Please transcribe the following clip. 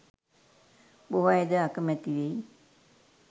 බොහෝ අයද අකමැති වෙයි.